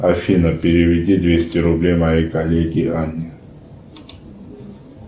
афина переведи двести рублей моей коллеге анне